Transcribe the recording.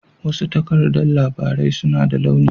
Wasu takardan labarai suna da launi